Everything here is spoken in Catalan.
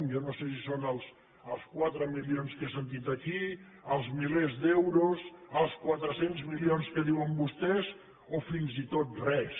jo no sé si són els quatre milions que he sentit aquí els milers d’euros els quatre cents milions que diuen vostès o fins i tot res